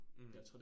Mh